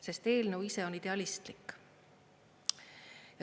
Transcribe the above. Sest eelnõu ise on idealistlik.